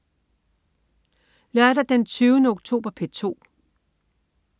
Lørdag den 20. oktober - P2: